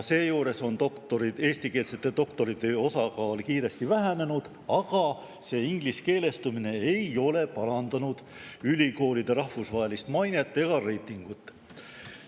Seejuures on eestikeelsete doktoritööde osakaal kiiresti vähenenud, aga see ingliskeelestumine ei ole parandanud ülikoolide rahvusvahelist mainet ega reitingut.